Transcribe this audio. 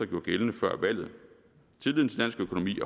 gjorde gældende før valget tilliden til dansk økonomi